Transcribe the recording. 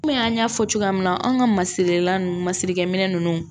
Kɔmi an y'a fɔ cogoya min na anw ka masirilan ninnu masirikɛminɛ ninnu